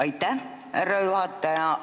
Aitäh, härra juhataja!